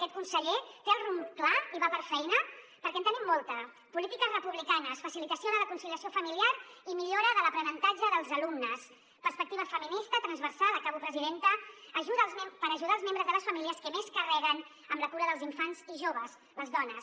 aquest conseller té el rumb clar i va per feina perquè en tenim molta polítiques republicanes facilitació de la conciliació familiar i mi·llora de l’aprenentatge dels alumnes perspectiva feminista transversal acabo presi·denta per ajudar els membres de les famílies que més carreguen amb la cura dels infants i joves les dones